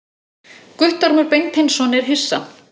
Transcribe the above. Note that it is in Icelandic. Guttormur Beinteinsson er hissa.